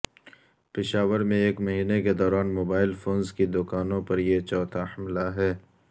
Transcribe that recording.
پشاور میں ایک مہینے کے دوران موبائل فونز کی دکانوں پر یہ چوتھا حملہ ہے